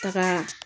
Taga